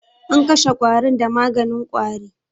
An kashe ƙwarin da maganin ƙwari.